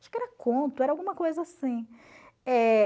Acho que era conto, era alguma coisa assim. Eh